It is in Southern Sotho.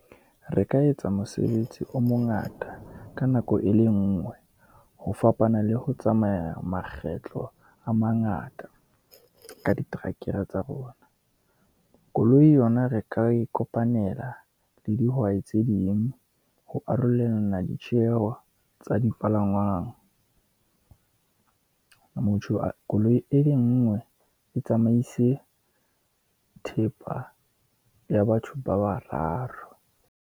Re ka etsa mosebetsi o mongata ka nako e le nngwe, ho fapana le ho tsamaya makgetlo a mangata ka diterekere tsa rona. Koloi yona re ka e kopanela le dihwai tse ding, ho arolelana ditjeho tsa dipalangwang. koloi e le ngwe e tsamaise thepa ya batho ba bararo.